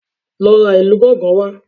Lọ ra ìlù gángan wá